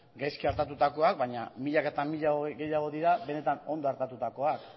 gaizki artatutakoak baina milaka eta milaka gehiago dira benetan ondo artatutakoak